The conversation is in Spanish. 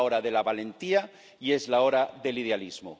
Es la hora de la valentía y es la hora del idealismo.